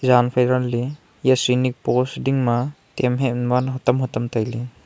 zanphai ganley yah shrinik pose dingma tamhat man hutam hutam tailay.